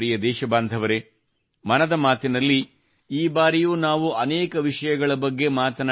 ಲಡಾಖ್ ನ ಅನೇಕ ಯುವಕ ಯುವತಿಯರಿಗೂ ಈ ಕ್ರೀಡಾಂಗಣದಿಂದ ಲಾಭವಾಗಲಿದೆ